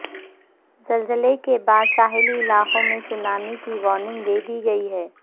زلزلے کے بعد ساحلی علاقوں میں سونامی کی وارننگ دے دی گئی ہے